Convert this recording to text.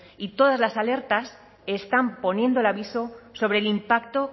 y todas las alertas están poniendo el aviso sobre el impacto